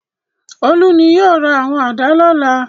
Olú ni yóò ra àwọn àdá lọ́la.